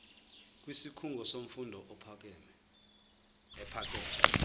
kwisikhungo semfundo ephakeme